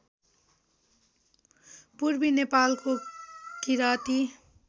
पूर्वी नेपालको किराँती